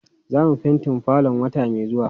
Zamu fentin falon wata mai zuwa.